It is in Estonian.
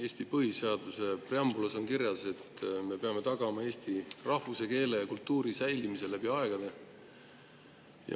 Eesti põhiseaduse preambulas on kirjas, et me peame tagama eesti rahvuse, keele ja kultuuri säilimise läbi aegade.